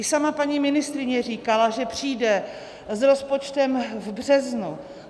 I sama paní ministryně říkala, že přijde s rozpočtem v březnu.